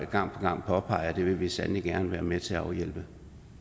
gang på gang påpeger vi sandelig gerne vil være med til at afhjælpe